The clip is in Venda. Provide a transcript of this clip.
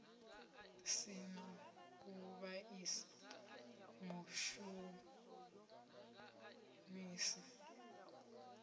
si na u vhaisa mushumisi